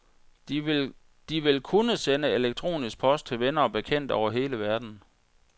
De vil kunne sende elektronisk post til venner og bekendte over hele verden.